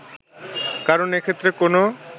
কারণ এক্ষেত্রে কোনো